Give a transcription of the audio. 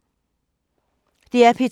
DR P2